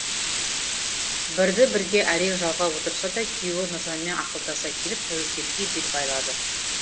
бірді бірге әрең жалғап отырса да күйеуі нұржанмен ақылдаса келіп тәуекелге бел байлады